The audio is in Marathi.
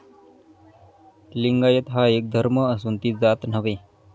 लिंगायत हा एक धर्म असून ती जात नव्हे.